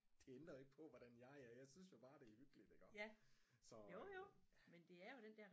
Det ændrer ikke på hvordan jeg er jeg synes jo bare det er hyggeligt iggå så øh